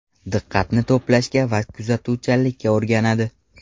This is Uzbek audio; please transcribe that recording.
Diqqatini to‘plashga va kuzatuvchanlikka o‘rganadi.